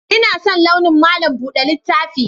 Ina son launin malam buɗe littaf